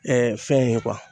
fɛn ye